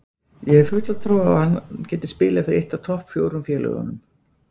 Ég hef fulla trú á að hann geti spilað fyrir eitt af topp fjórum félögunum.